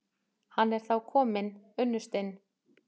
Hann er þá kominn, unnustinn!